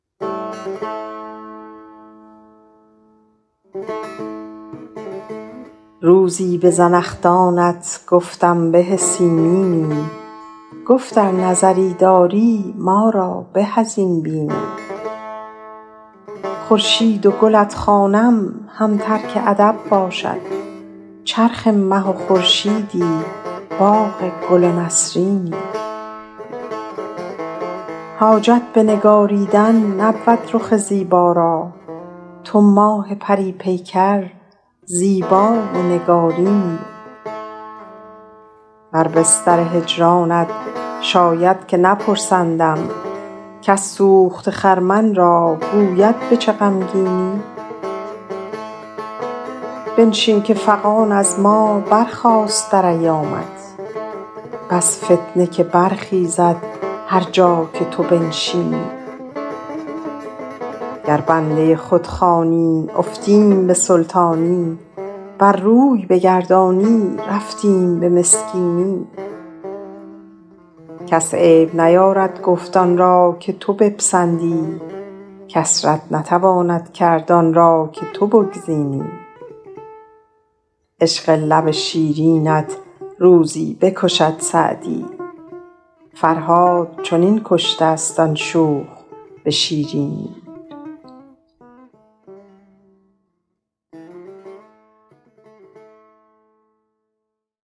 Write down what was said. روزی به زنخدانت گفتم به سیمینی گفت ار نظری داری ما را به از این بینی خورشید و گلت خوانم هم ترک ادب باشد چرخ مه و خورشیدی باغ گل و نسرینی حاجت به نگاریدن نبود رخ زیبا را تو ماه پری پیکر زیبا و نگارینی بر بستر هجرانت شاید که نپرسندم کس سوخته خرمن را گوید به چه غمگینی بنشین که فغان از ما برخاست در ایامت بس فتنه که برخیزد هر جا که تو بنشینی گر بنده خود خوانی افتیم به سلطانی ور روی بگردانی رفتیم به مسکینی کس عیب نیارد گفت آن را که تو بپسندی کس رد نتواند کرد آن را که تو بگزینی عشق لب شیرینت روزی بکشد سعدی فرهاد چنین کشته ست آن شوخ به شیرینی